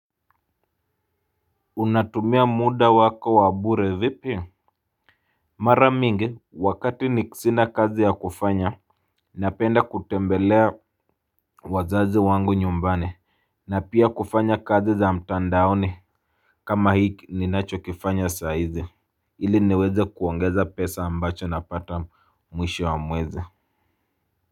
Unatumia muda wako wa bure vipi. Mara mingi wakati ni sina kazi ya kufanya. Napenda kutembelea wazazi wangu nyumbani. Na pia kufanya kazi za mtandaoni. Kama hiki ninacho kifanya saa hizi ili niweze kuongeza pesa ambacho napata mwisho wa mwezi. Kwa hivyo.